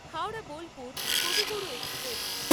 Howrah Bolpur Kaviguru express